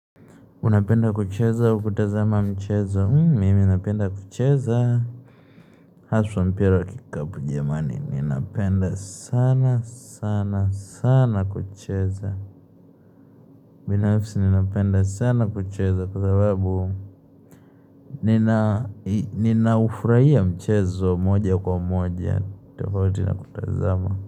Unapenda kucheza au kutazama mchezo? Mimi napenda kucheza. Haswa mpira wa kikapu jamani, ninapenda sana sana sana kucheza. Binafsi ninapenda sana kucheza kwa sababu ninahufurahia mchezo moja kwa moja tofauti na kutazama.